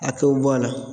A kɛw bɔ a la